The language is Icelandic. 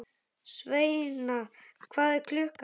Sveina, hvað er klukkan?